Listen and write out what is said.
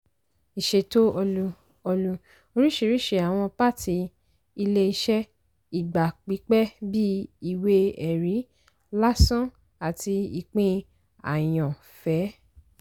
ìṣètò ọlú - ọlú - oríṣiríṣi àwọn pàtì ilé-iṣẹ́ ìgbà pípẹ́ bíi ìwé-ẹ̀rí làsàn àti ìpín àyàn-fẹ́.